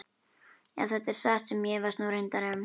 Ef þetta er satt sem ég efast nú reyndar um.